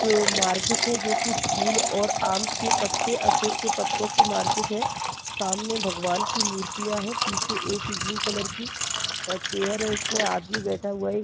एक मार्केट है जो की फूल और आम के पत्ते अशोक के पत्तो की मार्केट है सामने भगवान् की मूर्तियाँ है पीछे एक ब्लू कलर की चेयर है इसमे आदमी बैठा हुआ है।